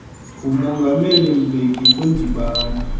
ngumongameli mbeki kwindibano